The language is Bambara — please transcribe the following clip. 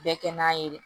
Bɛɛ kɛ n'a ye dɛ